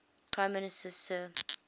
prime minister sir